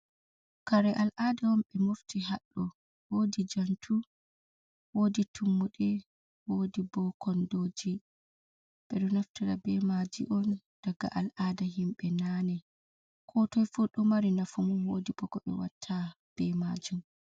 Kare al'ada on ɓe mofti haɗɗo wodi jantu, wodi tummude, wodi bo kondoji. ɓeɗo naftira be maji on daga al'ada himbe nane, ko toi fu ɗo mari nafu mum wodi bo koɓe watta be majum.